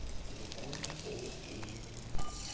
телефону похуй